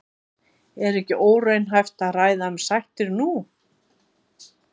Er ekki óraunhæft að ræða um sættir nú?